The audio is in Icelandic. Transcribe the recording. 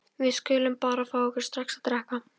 Við skulum bara fá okkur strax að drekka.